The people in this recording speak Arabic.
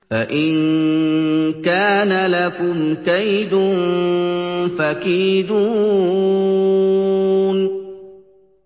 فَإِن كَانَ لَكُمْ كَيْدٌ فَكِيدُونِ